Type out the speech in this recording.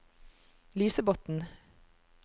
Lysebotn